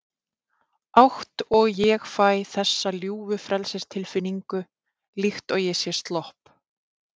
átt og ég fæ þessa ljúfu frelsistilfinningu, líkt og ég sé slopp